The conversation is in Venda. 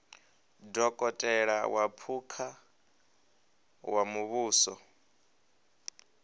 dokotela wa phukha wa muvhuso